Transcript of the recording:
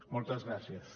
moltes gràcies